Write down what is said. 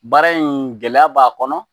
Baara in gɛlɛya b'a kɔnɔ